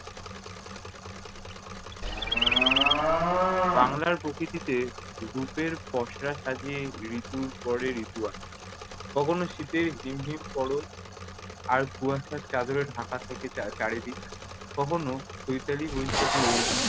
বাংলার প্রকৃতিতে রূপের পসরা সাজিয়ে ঋতুর পরে ঋতু আসে। কখনও শীতের হিম হিম পরশ, আর কুয়াশার চাদরে ঢাকা থাকে চার~ চারিদিক। কখনো চৈতালি-বৈশাখী রোদ